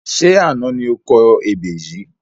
Ṣé àná ni o kọ ebè yìí?